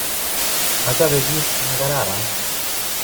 Ochobe kit nekararan